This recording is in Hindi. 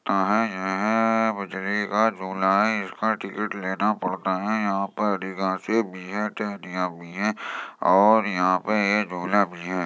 इसका टिकट लेना पड़ता है यहाँ पे और यहाँ पे एक झूला भी है।